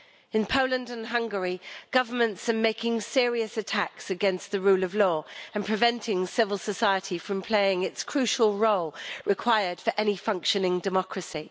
In Poland and Hungary, governments are making serious attacks against the rule of law and preventing civil society from playing its crucial role, required for any functioning democracy.